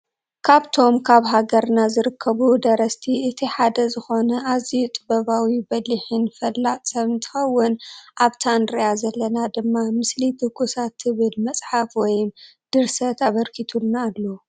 ካብቶም ካብ ሃገርና ዝርከቡ ደረስቲ እቲ ሓደ ዝኮነ ኣዝዩ ጥበባዊ በሊሕን ፈላጥ ሰብ እንትከውን። ኣብታ እንርእያ ዘለና ድማ ምስሊ ትኩሳት ትብል መፅሓፍ ወይም ድርሰት ኣብርኪትሉና ኣሎ።